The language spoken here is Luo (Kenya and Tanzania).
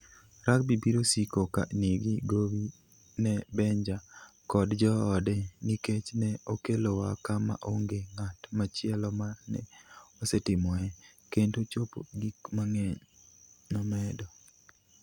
Rugby biro siko ka nigi gowi ne Benja kod joode nikech ne okelowa kama onge ng'at machielo ma ne osetimoe kendo chopo gik mang'eny, " nomedo.